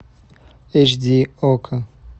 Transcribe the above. эйч ди окко